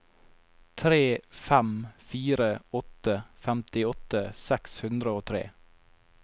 tre fem fire åtte femtiåtte seks hundre og tre